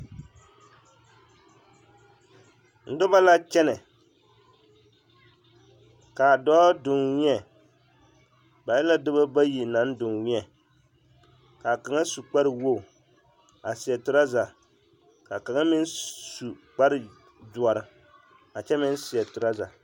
Noba la kyɛnɛ ka dɔɔ doŋwēɛ ba e la dɔbɔ bayi naŋ doŋwēɛ k'a kaŋa su kpare wogi a seɛ toraza ka kaŋa meŋ su kpare doɔre a kyɛ meŋ seɛ toraza.